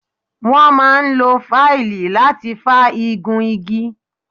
Wọ́n máa ń lo fáìlì láti fá igun igi.